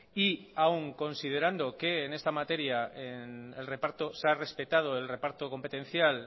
y aún considerando que en esta materia el reparto se ha respetado el reparto competencial